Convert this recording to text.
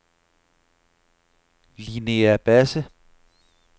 Linnea Basse